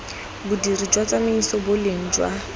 bodiri jwa tsamaiso boleng jwa